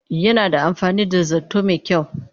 Yana da amfani da zarto mai kyau